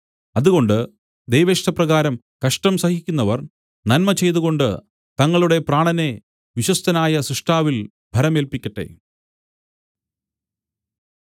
അതുകൊണ്ട് ദൈവേഷ്ടപ്രകാരം കഷ്ടം സഹിക്കുന്നവർ നന്മ ചെയ്തുകൊണ്ട് തങ്ങളുടെ പ്രാണനെ വിശ്വസ്തനായ സ്രഷ്ടാവിൽ ഭരമേല്പിക്കട്ടെ